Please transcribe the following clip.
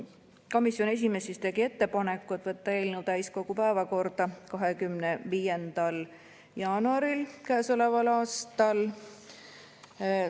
Komisjoni esimees tegi ettepaneku võtta eelnõu täiskogu päevakorda 25. jaanuaril käesoleval aastal.